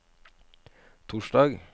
torsdag